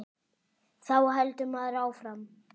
Þá heldur maður áfram.